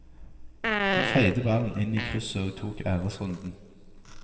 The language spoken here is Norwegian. Han feide ballen inn i krysset og tok æresrunden.